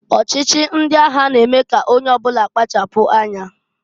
Ọchịchị ndị agha na-eme k'onye ọbụna kpachapụ anya.